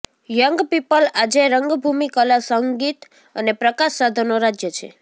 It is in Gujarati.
યંગ પીપલ આજે રંગભૂમિ કલા સંગીત અને પ્રકાશ સાધનો રાજ્ય છે